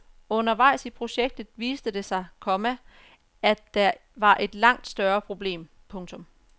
Undervejs i projektet viste det sig, komma at der var et langt større problem. punktum